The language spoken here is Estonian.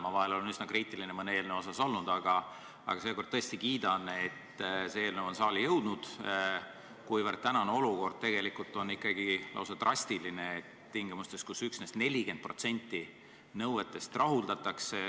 Ma olen vahel olnud mõne eeslnõu suhtes üsna kriitiline, aga seekord tõesti kiidan, et see eelnõu on saali jõudnud, kuivõrd tänane olukord tegelikult on ikkagi lausa trastiline tingimustes, kus üksnes 40% nõuetest rahuldatakse.